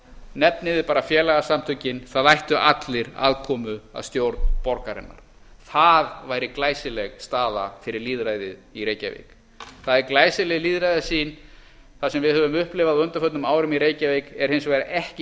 nefnið þið bara félagasamtökin það ættu allir aðkomu að stjórn borgarinnar það væri glæsileg staða fyrir lýðræðið í reykjavík það er glæsileg lýðræðissýn það sem við höfum upplifað á undanförnum árum í reykjavík er hins vegar ekki